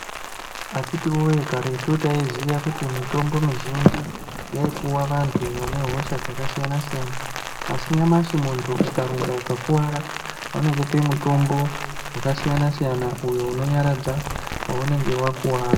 Akhiti woye ,karetu taiziye kuti mitombo mizhinji inopuwa vantu vanehosha dzakasiyana siyana asi nyamashi muntu ukadonha ukakuwara vanokupe mitombo yakasiyana siyana uyo unonyaradza paunenge wakuwara .